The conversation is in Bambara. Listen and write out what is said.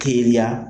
Teliya